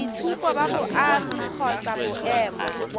boitshupo ba boagi kgotsa boemo